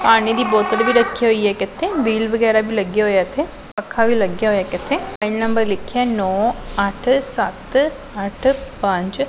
ਪਾਣੀ ਦੀ ਬੋਤਲ ਵੀ ਰੱਖੀ ਹੋਈ ਹੈ ਇੱਕ ਇੱਥੇ ਮੀਲ ਵਗੈਰਾ ਵੀ ਲੱਗਿਆ ਹੋਇਆ ਇੱਥੇ ਪੱਖਾ ਵੀ ਲੱਗਿਆ ਹੋਇਆ ਇੱਕ ਇੱਥੇ ਮੋਬਾਈਲ ਨੰਬਰ ਲਿੱਖਿਆ ਹੈ ਨੋਂ ਅੱਠ ਸੱਤ ਅੱਠ ਪੰਜ।